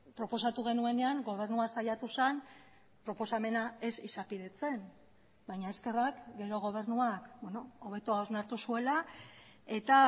proposatu genuenean gobernua saiatu zen proposamena ez izapidetzen baina eskerrak gero gobernuak hobeto hausnartu zuela eta